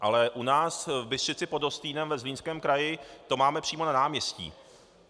Ale u nás v Bystřici pod Hostýnem ve Zlínském kraji to máme přímo na náměstí.